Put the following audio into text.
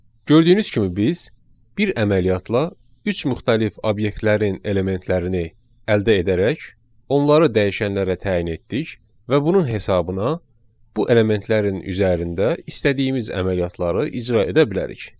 Gördüyünüz kimi biz bir əməliyyatla üç müxtəlif obyektlərin elementlərini əldə edərək, onları dəyişənlərə təyin etdik və bunun hesabına bu elementlərin üzərində istədiyimiz əməliyyatları icra edə bilərik.